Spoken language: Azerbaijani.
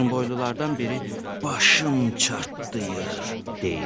Uzunboylulardan biri “başım çartlayır” deyir.